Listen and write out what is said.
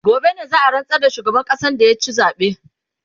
gobe ne za'a rantsar da shugaban ƙasan da ya ci zabe